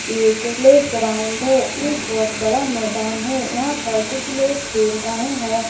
एक प्लेग्राउंड है यह बहुत बड़ा मैदान है यहां पर कुछ लोग खेल रहे हैं ।